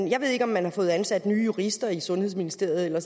jeg ved ikke om man har fået ansat nye jurister i sundhedsministeriet eller